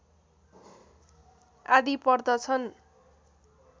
आदि पर्दछन्